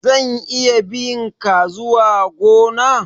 zan iya bi' nka zuwa gona?